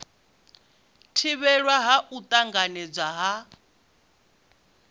thivhelwa ha u tanganedzwa ha